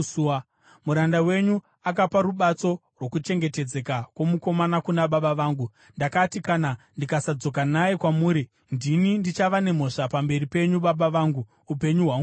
Muranda wenyu akapa rubatso rwokuchengetedzeka kwomukomana kuna baba vangu. Ndakati, ‘Kana ndikasadzoka naye kwamuri, ndini ndichava nemhosva pamberi penyu, baba vangu, upenyu hwangu hwose!’